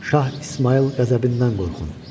Şah İsmayıl qəzəbindən qorxun.